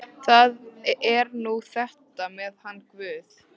Það er nú þetta með hann guð.